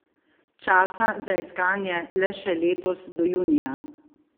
Časa za iskanje le še letos do junija?